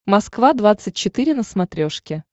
москва двадцать четыре на смотрешке